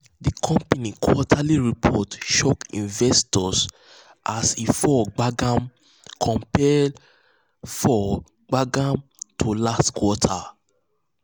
the company quarterly um report shock investors as um e fall gbagam compared fall gbagam compared to last quarter.